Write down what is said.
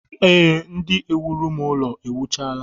Ee, ndị na-ewuru m ụlọ ewuchaala